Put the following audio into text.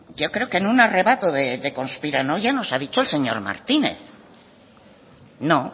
yo creo que en un arrebato de conspiranoia nos ha dicho el señor martínez no